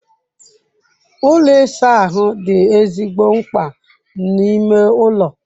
Ụlọ ịsa ahụ dị ezigbo mkpa n'ime ụlọ.